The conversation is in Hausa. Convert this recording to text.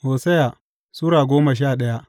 Hosiya Sura goma sha daya